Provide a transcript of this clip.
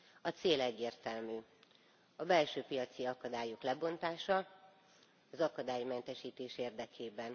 A cél egyértelmű a belső piaci akadályok lebontása az akadálymentesítés érdekében.